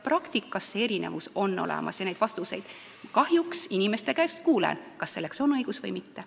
Praktikas on need erinevused olemas ja seda ma kahjuks inimeste käest kuulen, on siis selleks õigust või mitte.